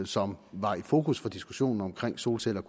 som var i fokus for diskussionen om solceller